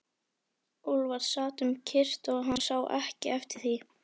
Úlfar sat um kyrrt og hann sá ekki eftir því.